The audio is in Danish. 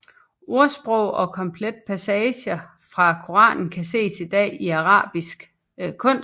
Ordsprog og komplette passager fra Koranen kan ses i dag i arabesk kunst